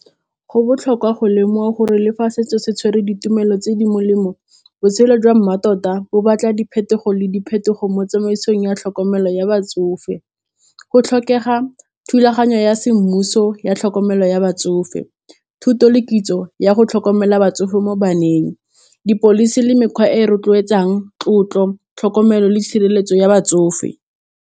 Go botlhokwa go lemoga gore le fa setso se tshwere ditumelo tse di molemo botshelo jwa mmatota bo batla diphetogo le diphetogo mo tsamaisong ya tlhokomelo ya batsofe, go tlhokega thulaganyo ya semmuso ya tlhokomelo ya batsofe, thuto le kitso ya go tlhokomela batsofe mo baneng, di-policy le mekgwa e rotloetsang tlotlo tlhokomelo le tshireletso ya batsofe.